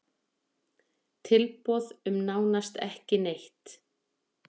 Tilboð um nánast ekki neitt